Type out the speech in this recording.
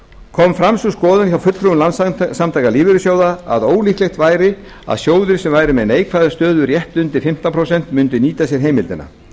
kom fram sú skoðun hjá fulltrúum landssamtaka lífeyrissjóða að ólíklegt væri að sjóðir sem væru með neikvæða stöðu rétt undir fimmtán prósent mundu nýta sér heimildina